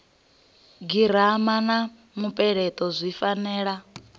girama na mupeleto zwi fanela